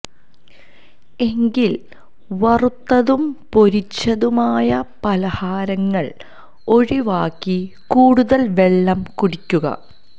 എങ്കില് വറുത്തതും പൊരിച്ചതുമായ പലഹാരങ്ങള് ഒഴിവാക്കി കൂടുതല് വെളളം കുടിക്കുക